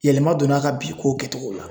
Yɛlɛma donna a ka bi kow kɛtogo la